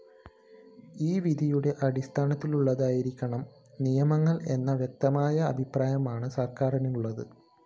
ഈ വിധിയുടെ അടിസ്ഥാനത്തിലുള്ളതായിരിക്കണം നിയമങ്ങള്‍ എന്ന വ്യക്തമായ അഭിപ്രായമാണ് സര്‍ക്കാരിനുള്ളത്